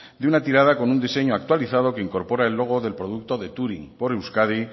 de una tirada con un diseño actualizado que incorpora el logo del producto de touring por euskadi